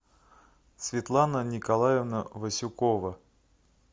светлана николаевна васюкова